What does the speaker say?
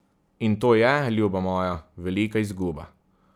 In to je, ljuba moja, velika izguba.